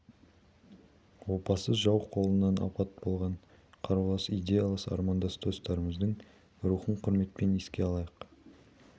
опасыз жау қолынан опат болған қарулас идеялас армандас достарымыздың рухын құрметпен еске алайық